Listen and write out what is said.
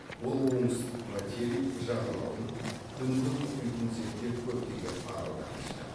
ол оңтүстік материк жағалауын үнді мұхитын зерттеп көптеген аралдар ашты